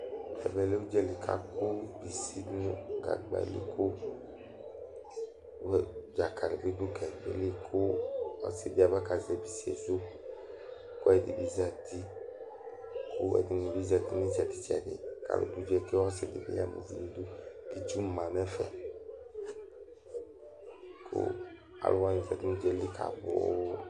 Ɛvɛlɛ udzali kʋ akɔ si ŋu gagbali kʋ dzakali bi ɖʋ gagbaɛli Ɔsiɖi abakazɛ isiesu Ɛɖi bi zɛti kʋ aluɛɖìŋí bi zɛti ŋu itsɛɖi tsɛɖi kʋ ɔsiɖi bi ama uvi ŋu iɖʋ Itsu ma ŋu ɛfɛ Aluwaŋi kɔ ŋu udzaeli kawlɔ